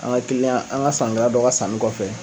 An ka kiliyan an ka sannikɛla dɔ ka sanni kɔfɛ